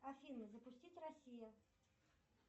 афина запустить россия